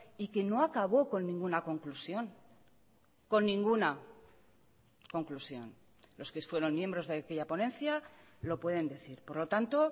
y que no acabó con ninguna conclusión con ninguna conclusión los que fueron miembros de aquella ponencia lo pueden decir por lo tanto